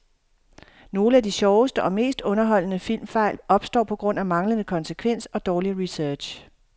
Nogle af de sjoveste og mest underholdende filmfejl opstår på grund af manglende konsekvens og dårlig research.